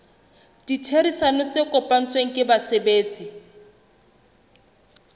ditherisano tse kopanetsweng ke basebetsi